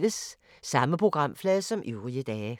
Samme programflade som øvrige dage